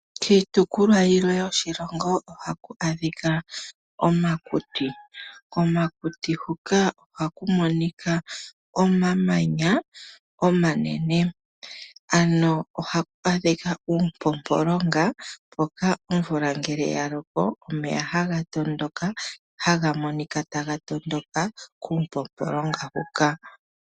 Kiitopolwa yilwe yoshilongo ohaku adhika omakuti. Komakuti huka ohaku monika omamanya omanene, ano ohaku adhika uupompolonga mpoka ngele omvula ya loko omeya ohaga tondoka kuupompolonga huka.